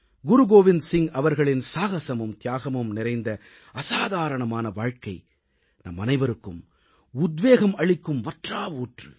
குருகோவிந்த் சிங் அவர்களின் சாகசமும் தியாகமும் நிறைந்த அசாதாரணமான வாழ்க்கை நம்மனைவருக்கும் உத்வேகம் அளிக்கும் வற்றா ஊற்று